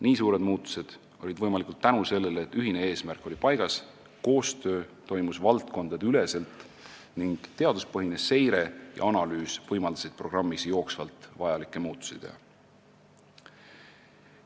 Nii suured muutused olid võimalikud tänu sellele, et ühine eesmärk oli paigas, koostööd tehti valdkondadeüleselt ning teaduspõhine seire ja analüüs võimaldasid programmis jooksvalt vajalikke muutusi teha.